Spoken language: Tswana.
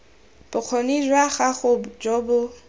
bokgoni jwa gago jo bo